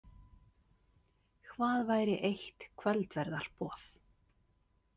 Hvað væri eitt kvöldverðarboð?